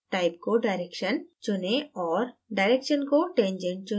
type को direction चुनें और direction को tangent चुनें